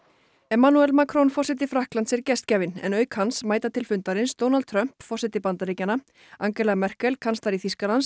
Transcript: emmanuel Macron forseti Frakklands er gestgjafinn en auk hans mæta til fundarins Donald Trump forseti Bandaríkjanna Angela Merkel kanslari Þýskalands